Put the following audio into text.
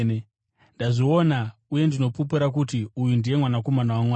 Ndazviona uye ndinopupura kuti uyu ndiye Mwanakomana waMwari.”